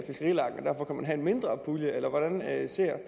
at en mindre pulje eller hvordan ser